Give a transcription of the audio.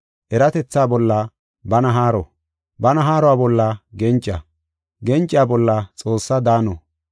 eratetha bolla bana haaro, bana haaro bolla genca, genca bolla Xoossaa daano,